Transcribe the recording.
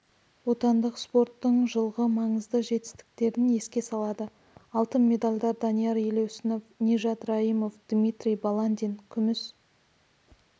отандық спорттың жылғы маңызды жетістіктерін еске салады алтын медальдар данияр елеусінов нижат раимов дмитрий баландин күміс